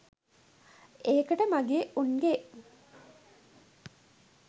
ඒකට මගේ උන්ගේ